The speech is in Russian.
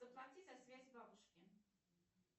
заплати за связь бабушке